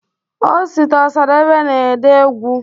osita osadebe na ede egwụ